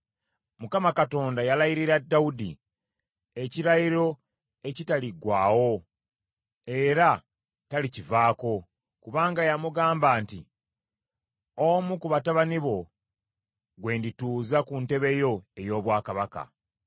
Mukama Katonda yalayirira Dawudi ekirayiro ekitaliggwaawo, era talikivaako. Kubanga yamugamba nti, “Omu ku batabani bo gwe ndituuza ku ntebe yo ey’obwakabaka.